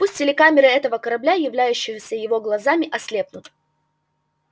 пусть телекамеры этого корабля являющиеся его глазами ослепнут